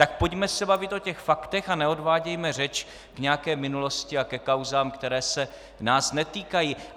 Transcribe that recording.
Tak se pojďme bavit o těch faktech a neodvádějme řeč k nějaké minulosti a ke kauzám, které se nás netýkají.